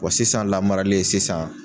Wa sisan lamarali ye sisan